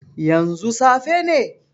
Yanzu safe ne?